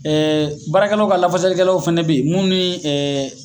baarakɛlaw ka lafasalikɛlaw fɛnɛ be yen mun ni